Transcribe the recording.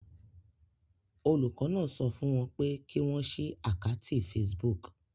Olùkọ́ náà sọ fún wọn pé kí wọ́n ṣí àkátì Facebook.